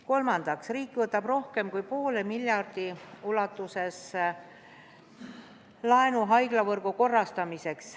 Kolmandaks, riik võtab rohkem kui poole miljardi ulatuses laenu haiglavõrgu korrastamiseks.